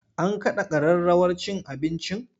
An kada kararrawar cin abincin?